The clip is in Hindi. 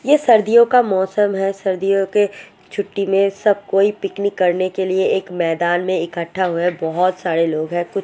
ये सर्दियों का मोसम है सर्दियों के छुट्टी में सब कोई पिकनिक करने के लिए एक मैदान में इक्खटटा हुइए बोहोत सरे लोग है कुछ लोग खाना खा रहा है ।